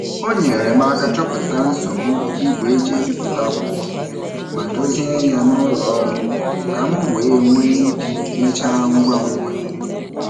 O nyeere m aka chọpụta nsogbu igwe e ji ebipụta akwụkwọ ma dozie ya n'ụlọ ọrụ ka m wee nwee ike mechaa ngwa ngwa.